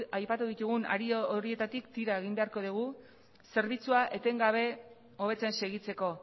aipatu ditugun hari horietatik tira egin beharko dugu zerbitzua etengabe hobetzen segitzeko